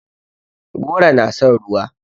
Goro na son ruwa.